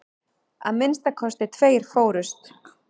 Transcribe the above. Að minnsta kosti tveir fórust.